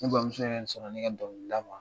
Ne bamuso yɛrɛ sɔnna ne ka dɔnkilida ma .